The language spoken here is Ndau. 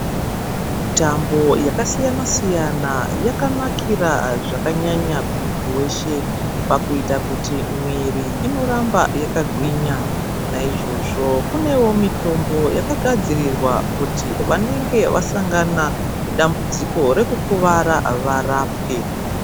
Mitambo yakasiyana siyana yakanakira zvakanakira kumuntu weshe pakuita kuti muntu inoramba wakagwinya naizvozvo kunewo mitombo yakagadzirwa kuti anenge asangana WA dambudziko kuti varapwe.